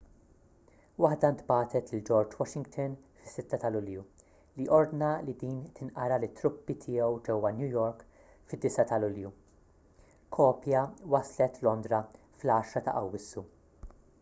waħda ntbagħtet lil george washington fis-6 ta' lulju li ordna li din tinqara lit-truppi tiegħu ġewwa new york fid-9 ta' lulju kopja waslet londra fl-10 ta' awwissu